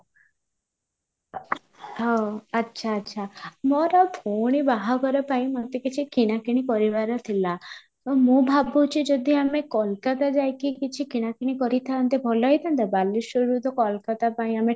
ହଁ ଆଚ୍ଛା ଆଚ୍ଛା ମୋର ଭଉଣୀ ବାହାଘର ପାଇଁ ମୋତେ କିଛି କିଣାକିଣି କରିବାର ଥିଲା, ମୁଁ ଭାବୁଛି ଯଦି କୋଲକାତା ଯାଇ କି କିଛି କିଣାକିଣି କରିଥାନ୍ତେ ଭଲ ହେଇଥାନ୍ତା ବାଲେଶ୍ୱରରୁ ତ କୋଲକାତା ପାଇଁ ଆମେ